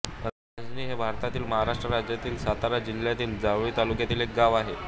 रांजनी हे भारतातील महाराष्ट्र राज्यातील सातारा जिल्ह्यातील जावळी तालुक्यातील एक गाव आहे